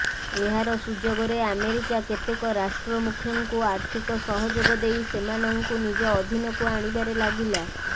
ଏହାର ସୁଯୋଗରେ ଆମେରିକା କେତେକ ରାଷ୍ଟ୍ର ମୁଖ୍ୟଙ୍କୁ ଆର୍ଥିକ ସହଯୋଗ ଦେଇ ସେମାନଙ୍କୁ ନିଜ ଅଧୀନକୁ ଆଣିବାରେ ଲାଗିଲା